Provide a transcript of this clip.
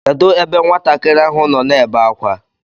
Kedụ ebe nwatakịrị ahụ nọ na-ebe akwa?